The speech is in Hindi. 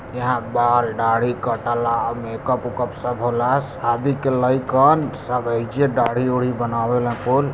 यहां बाल दाढ़ी सब कटेला मेकअप उकप सब होला शादी के लयकन सब एजे दाढ़ी उड़ी बनावे हकून ।